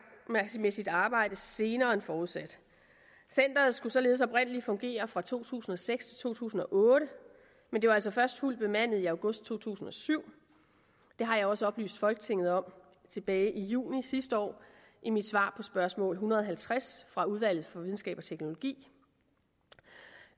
med sit arbejde senere end forudsat centeret skulle således oprindelig fungere fra to tusind og seks til to tusind og otte men det var altså først fuldt bemandet i august to tusind og syv det har jeg også oplyst folketinget om tilbage i juni sidste år i mit svar på spørgsmål en hundrede og halvtreds fra udvalget for videnskab og teknologi